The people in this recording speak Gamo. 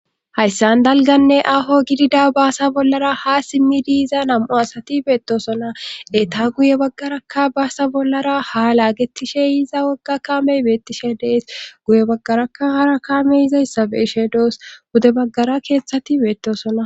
Hayssan dalganne aho gidida baasa bollara ha simmi diiza nam7o asati beettosona eta guye baggarakka baasa bollara ha laagetishe iza wogga kamey beettishe dees guye baggarakka hara kame yizayssabe ishe doos gude baggara keettshati beettosona.